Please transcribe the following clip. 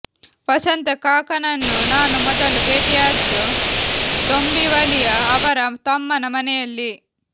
ವಸಂತ ಕಾಕಾನನ್ನು ನಾನು ಮೊದಲು ಭೇಟಿಯಾದ್ದು ದೊಂಬಿವಲಿಯ ಅವರ ತಮ್ಮನ ಮನೆಯಲ್ಲಿ